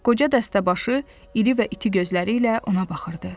Qoca dəstəbaşı iri və iti gözləri ilə ona baxırdı.